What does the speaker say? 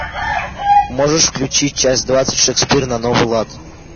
можешь включить часть двадцать шекспир на новый лад